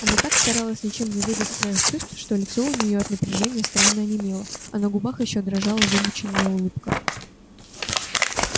она так старалась ничем не выдать своих чувств что лицо у нее от напряжения странно онемело а на губах ещё дрожала вымученная улыбка